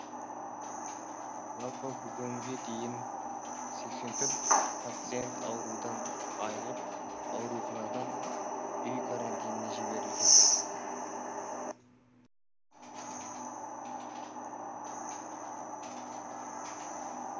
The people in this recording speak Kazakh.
жалпы бүгінге дейін сексен төрт пациент аурудан айығып ауруханадан үй карантиніне жіберілген